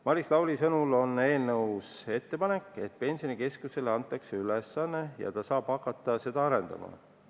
Maris Lauri viitas, et eelnõus on ettepanek, et Pensionikeskusele antakse asjaomane ülesanne ja ta saab hakata seda arendama.